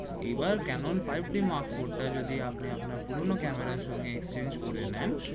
এবার Canon five d mark four টা যদি আপনি আপনার পুরনো ক্যামেরায় সঙ্গে exchange করে নেন